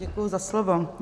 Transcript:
Děkuju za slovo.